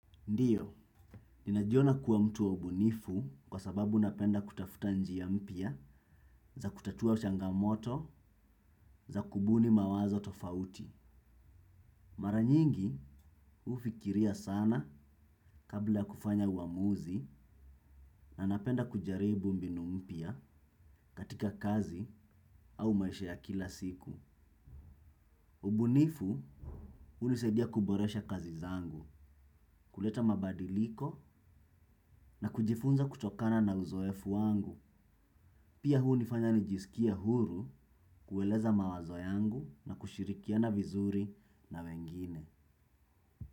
Ndiyo, ninajiona kuwa mtu wa ubunifu kwa sababu napenda kutafuta njia mpya za kutatua changamoto za kubuni mawazo tofauti. Mara nyingi, hufikiria sana kabla ya kufanya uamuzi na napenda kujaribu mbinu mpya katika kazi au maisha ya kila siku. Ubunifu, hunisadia kuboresha kazi zangu, kuleta mabadiliko na kujifunza kutokana na uzoefu wangu. Pia hunifanya nijisikie huru kueleza mawazo yangu na kushirikiana vizuri na wengine.